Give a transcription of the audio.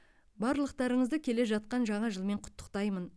барлықтарыңызды келе жатқан жаңа жылмен құттықтаймын